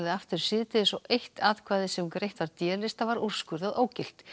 aftur síðdegis og eitt atkvæði sem greitt var d lista var úrskurðað ógilt